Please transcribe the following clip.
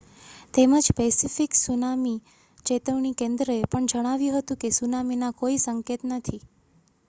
તેમજ Pacific tsunami ચેતવણી કેન્દ્રએ પણ જણાવ્યું હતું કે સુનામીના કોઈ સંકેત નથી